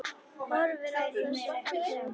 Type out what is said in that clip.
Horfir á þessa fallegu krukku.